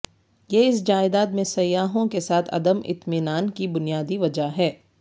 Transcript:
یہ اس جائیداد میں سیاحوں کے ساتھ عدم اطمینان کی بنیادی وجہ ہے